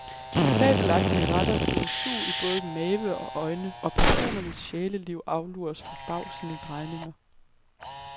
De fabelagtige retter giver sug i både mave og øjne, og personernes sjæleliv aflures forbavsende drejninger.